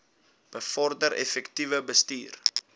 bevorder effektiewe bestuur